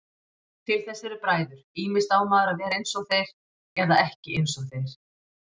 Til þess eru bræður, ýmist á maður að vera einsog þeir eða ekki einsog þeir.